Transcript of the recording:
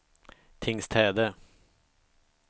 Tingstäde